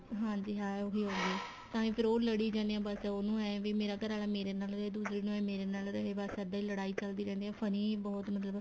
ਹਾਂਜੀ ਹਾਂ ਉਹੀ ਹੋਗੀ ਤਾਂਹੀ ਫੇਰ ਉਹ ਲੜੀ ਜਾਨੇ ਏ ਉਹਨੂੰ ਇਹ ਏ ਵੀ ਮੇਰਾ ਘਰ ਵਾਲਾ ਮੇਰੇ ਨਾਲ ਦੂਸਰੇ ਨੂੰ ਇਹ ਏ ਮੇਰੇ ਨਾਲ ਰਹੇ ਬੱਸ ਇੱਦਾਂ ਈ ਲੜਾਈ ਚੱਲਦੀ ਰਹਿੰਦੀ ਏ funny ਬਹੁਤ ਮਤਲਬ